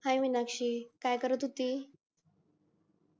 हाय मिनाक्षी काय करत होतीस